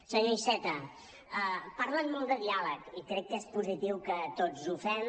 senyor iceta parlen molt de diàleg i crec que és positiu que tots ho fem